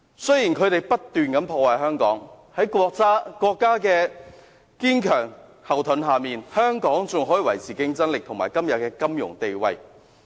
雖然他們不斷破壞香港，但有國家作為堅強後盾，香港仍能維持競爭力和今天的金融地位。